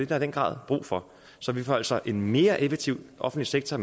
der i den grad brug for så man får altså en mere effektiv offentlig sektor